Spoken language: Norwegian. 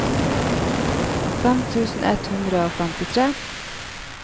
fem tusen ett hundre og femtifire